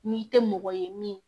N'i tɛ mɔgɔ ye min